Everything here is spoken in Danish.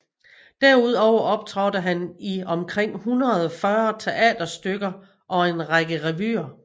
Derudover optrådte han i omkring 140 teaterstykker og en række revyer